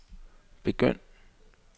begynd